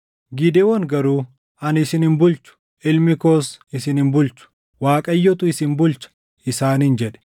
Gidewoon garuu, “Ani isin hin bulchu; ilmi koos isin hin bulchu. Waaqayyotu isin bulcha” isaaniin jedhe.